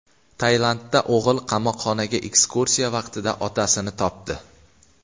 Tailandda o‘g‘il qamoqxonaga ekskursiya vaqtida otasini topdi.